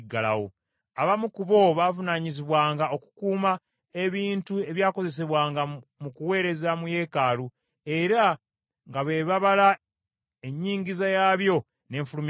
Abamu ku bo baavunaanyizibwanga okukuuma ebintu ebyakozesebwanga mu kuweereza mu yeekaalu, era nga be babala ennyingiza yaabyo ne nfulumya yaabyo.